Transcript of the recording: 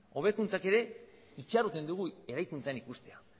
hobekuntzak ere itxaroten ditugu eraikuntzan ikustea